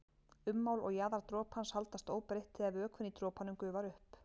Ummál og jaðar dropans haldast óbreytt þegar vökvinn í dropanum gufar upp.